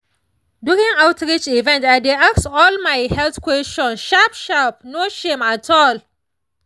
during outreach event i dey ask all my health questions sharp sharp no shame at all.